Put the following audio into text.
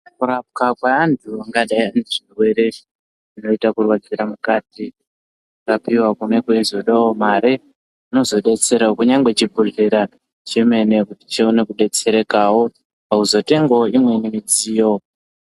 Ku rapwa kwe antu angadai ane zvirwere zvakaita ku rwadzira mukati kurapiwa kune kwei zodewo mare kunozo detserawo kunyangwe chi bhodhlera chemene kuti chione ku detserekawo pakuzo tengawo imweni midziyo.